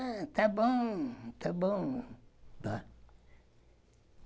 Ah, tá bom, tá bom.